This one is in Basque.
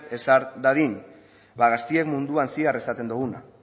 ezar dadin ba gazteen munduan zehar esaten duguna